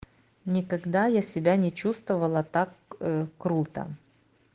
никогда я себя не чувствовала так круто